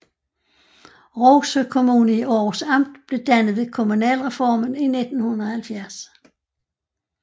Rougsø Kommune i Århus Amt blev dannet ved kommunalreformen i 1970